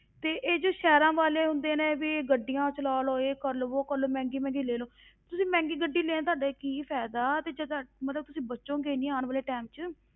ਤੇ ਇਹ ਜੋ ਸ਼ਹਿਰਾਂ ਵਾਲੇ ਹੁੰਦੇ ਨੇ, ਇਹ ਵੀ ਗੱਡੀਆਂ ਚਲਾ ਲਓ, ਇਹ ਕਰ ਲਓ ਵੋਹ ਕਰ ਲਓ, ਮਹਿੰਗੀ ਮਹਿੰਗੀ ਲੈ ਲਓ, ਤੁਸੀਂ ਮਹਿੰਗੀ ਗੱਡੀ ਲਏ ਤੁਹਾਡਾ ਕੀ ਫ਼ਾਇਦਾ ਵੀ ਜੇਕਰ ਮਤਲਬ ਤੁਸੀਂ ਬਚੋਗੇ ਨਹੀਂ ਆਉਣ ਵਾਲੇ time ਵਿੱਚ